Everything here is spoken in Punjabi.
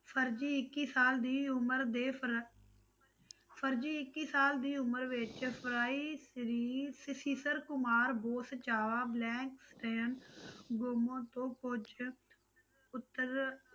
ਫਰਜੀ ਇੱਕ ਸਾਲ ਦੀ ਉਮਰ ਫਰ~ ਫ਼ਰਜੀ ਇੱਕੀ ਸਾਲ ਦੀ ਉਮਰ ਵਿੱਚ ਤੋਂ ਪਹੁੰਚਿਆ ਉੱਤਰ